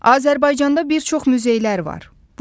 Azərbaycanda bir çox muzeylər var.